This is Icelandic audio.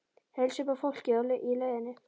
Heilsa upp á fólkið í leiðinni?